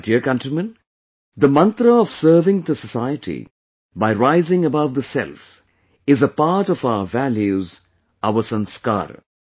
My dear countrymen, the mantra of serving the society by rising above the self, is a part of our values, our sanskar